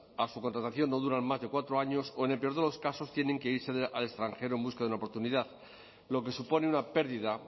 a su contratación no duran más de cuatro años o en el peor de los casos tienen que irse al extranjero en busca de una oportunidad lo que supone una pérdida